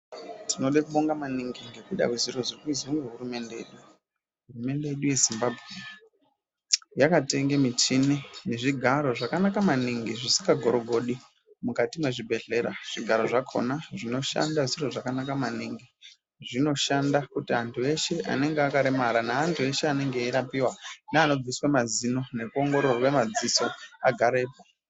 Tinode kubonga manigi ngekuda kwe zviro zviri kuizwa ngehurumende, hurumende yedu ye Zimbabwe yakatenge michini nezvigaro zvakanaka maningi zvisikagorogodi mukati mezvibhedhlera. Zvigaro zvakhona zvinoshanda zviro zvakanaka maningi. Zvinoshanda kuti antu eshe anonga akaremara neantu eshe anonga eirapiwa neanobviswe mazino nekuongororwe madziso agarepo.